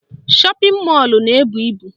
Shọpịn mọlụ na-ebu ibu